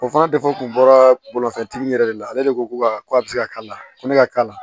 O fana defu kun bɔra bolifɛntigi yɛrɛ de la ale de ko ko a bɛ se ka k'a la ko ne ka k'a la